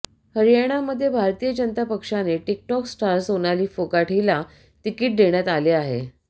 हरयाणामध्ये भारतीय जनता पक्षाने TikTok star Sonali Phogat हिला तिकीट देण्यात आले आहे